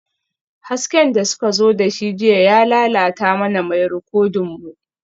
Hasken da suka zo da shi jiya ya lalata mana mai rikodin mu